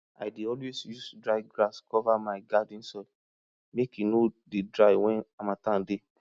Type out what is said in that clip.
i dey always use dry grass cover my garden soil make e no dey dry when harmattan dey